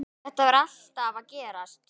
Þetta var alltaf að gerast.